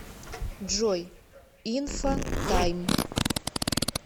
джой инфотайм